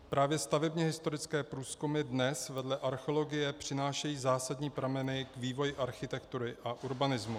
Právě stavebně historické průzkumy dnes vedle archeologie přinášejí zásadní prameny k vývoji architektury a urbanismu.